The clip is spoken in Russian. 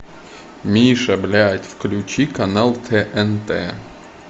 миша блядь включи канал тнт